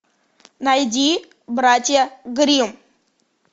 найди братья гримм